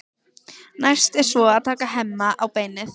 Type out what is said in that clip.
Næst er svo að taka Hemma á beinið.